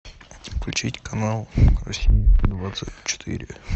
включить канал россия двадцать четыре